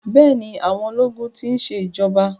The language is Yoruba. Bẹ́ẹ̀ni, àwọn ológun ti ń ṣe ìjọba.